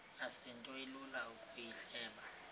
asinto ilula ukuyihleba